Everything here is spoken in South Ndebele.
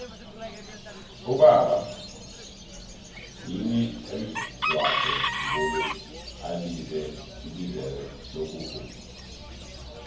kuba yini umzwokhe mbuli alize ibizelo lokuvuma